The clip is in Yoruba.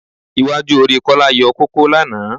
Iwájú orí Kọ́lá yọ kókó lánàá